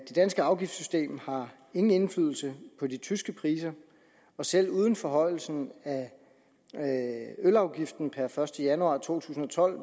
det danske afgiftssystem har ingen indflydelse på de tyske priser og selv uden forhøjelsen af ølafgiften per første januar to tusind og tolv